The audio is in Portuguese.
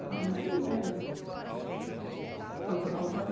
Ah, mais ou menos. Ah ah usava